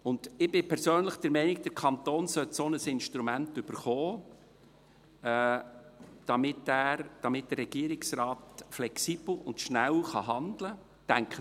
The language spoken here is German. Ich bin persönlich der Meinung, der Kanton sollte ein solches Instrument erhalten, damit der Regierungsrat flexibel und schnell handeln kann.